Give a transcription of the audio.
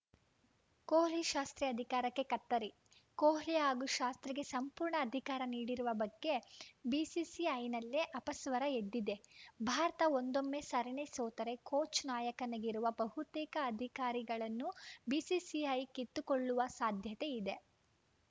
ಕೊಹ್ಲಿಶಾಸ್ತ್ರಿ ಅಧಿಕಾರಕ್ಕೆ ಕತ್ತರಿ ಕೊಹ್ಲಿ ಹಾಗೂ ಶಾಸ್ತ್ರಿಗೆ ಸಂಪೂರ್ಣ ಅಧಿಕಾರ ನೀಡಿರುವ ಬಗ್ಗೆ ಬಿಸಿಸಿಐನಲ್ಲೇ ಅಪಸ್ವರ ಎದ್ದಿದೆ ಭಾರತ ಒಂದೊಮ್ಮೆ ಸರಣಿ ಸೋತರೆ ಕೋಚ್‌ನಾಯಕನಿಗಿರುವ ಬಹುತೇಕ ಅಧಿಕಾರಿಗಳನ್ನು ಬಿಸಿಸಿಐ ಕಿತ್ತುಕೊಳ್ಳುವ ಸಾಧ್ಯತೆ ಇದೆ